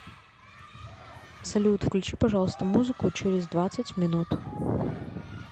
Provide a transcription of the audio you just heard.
салют включи пожалуйста музыку через двадцать минут